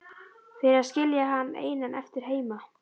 Fyrir að skilja hann einan eftir heima.